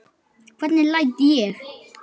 Hvernig læt ég!